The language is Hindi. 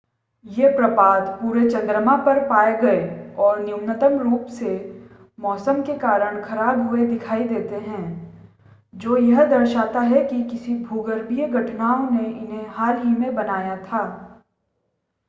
ये प्रपात पूरे चंद्रमा पर पाए गए और न्यूनतम रूप से मौसम के कारण ख़राब हुए दिखाई देते हैं जो यह दर्शाता है कि किसी भूगर्भीय घटनाओं ने उन्हें हाल ही में बनाया था